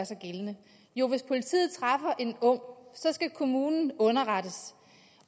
sig gældende jo hvis politiet træffer en ung skal kommunen underrettes